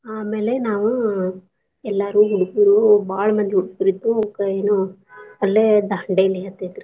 ಆಮೇಲೆ ನಾವ್ ಎಲ್ಲಾರು ಹೆಂಗ್ಸುರು ಬಾಳ್ ಮಂದಿ ಹೋಗಿದ್ವಿ ರಿ ಏನೋ ಅಲ್ಲೆ Dandeli ಹತ್ತೇತ್ರಿ.